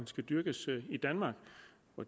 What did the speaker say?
skal dyrkes i danmark